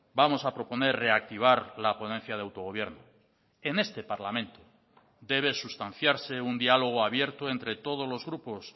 vamos a proponer reactivar la ponencia de autogobierno en este parlamento debe sustanciarse un diálogo abierto entre todos los grupos